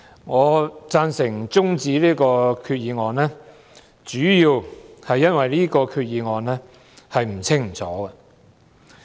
我贊成中止這項決議案的辯論，主要因為這項決議案不清不楚。